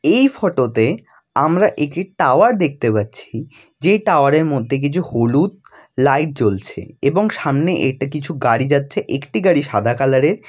এই ফটো তে আমরা একটি টাওয়ার দেখতে পাচ্ছি যে টাওয়ার এর মধ্যে কিছু হলুদ লাইট জ্বলছে এবং সামনে এটা কিছু গাড়ি যাচ্ছে একটি গাড়ি সাদা কালার এর।